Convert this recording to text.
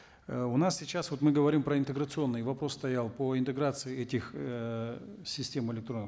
э у нас сейчас вот мы говорим про интеграционные вопрос стоял по интеграции этих эээ систем электронных